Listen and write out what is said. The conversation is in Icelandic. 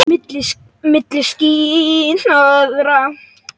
Milli ský- hnoðra.